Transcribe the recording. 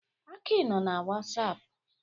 Aki nọ na wasapụ.